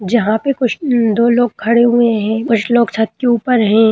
जहाँ पे कुछ उ दो लोग खड़े हुए है कुछ लोग छत के ऊपर हैं।